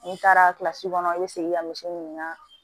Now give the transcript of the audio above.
N'i taara kilasi kɔnɔ i bɛ segin ka misi ɲini ka